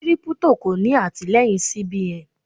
Kírípútò kò ní àtìleyìn CBN.